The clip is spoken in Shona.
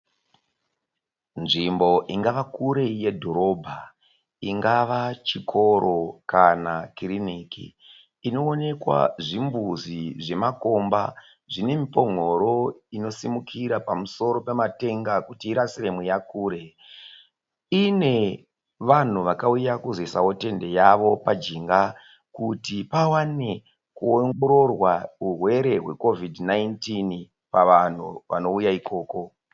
Nzvimbo ingava kure yedhorobha ingava chikoro kana kiriniki. Inoonekwa zvimbuzi zvemakomba zvine mipongoro inosimukira pamusoro pematenga kuti irasire mweya kure. Inevanhu vakauya kuzoisawo tende yavo pajinga kuti pawane kuongororwa urwere hwe'Covid 19' pavanhu vanouya ikoko.